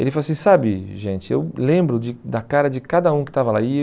Ele falou assim, sabe gente, eu lembro de da cara de cada um que estava lá. E